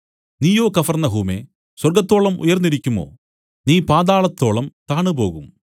നീയോ കഫർന്നഹൂമേ സ്വർഗ്ഗത്തോളം ഉയർന്നിരിക്കുമോ നീ പാതാളത്തോളം താണുപോകും